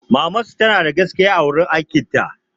Mamansu tanada gaskiya a wajen aikin ta